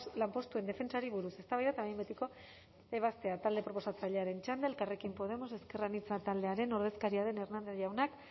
lanpostuen defentsari buruz eztabaida eta behin betiko ebazpena talde proposatzailearen txanda elkarrekin podemos ezker anitza taldearen ordezkaria den hernández jaunak